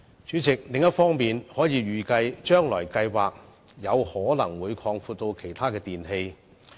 主席，另一方面，強制性標籤計劃預期有可能會擴展至涵蓋其他電器。